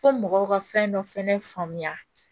Fo mɔgɔw ka fɛn dɔ fɛnɛ faamuya